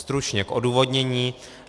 Stručně k odůvodnění.